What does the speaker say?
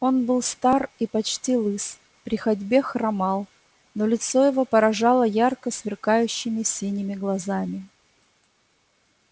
он был стар и почти лыс при ходьбе хромал но лицо его поражало ярко сверкающими синими глазами